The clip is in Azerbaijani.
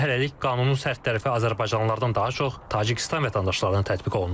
Lakin hələlik qanunun sərt tərəfi azərbaycanlılardan daha çox Tacikistan vətəndaşlarına tətbiq olunur.